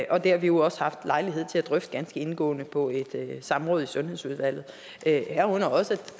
og det har vi jo også haft lejlighed til at drøfte ganske indgående på et samråd i sundhedsudvalget herunder også